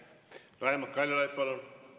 Raimond Kaljulaid, palun!